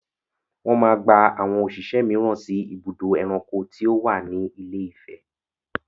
Wọ́n máa gba àwọn òṣìṣẹ́ mìíràn sí ibùdó ẹranko tí ó wà ní Ifẹ̀.